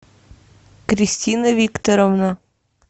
кристина викторовна